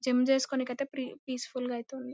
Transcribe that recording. GM చేస్కోడానికితె free peaceful గ ఐతే ఉంది.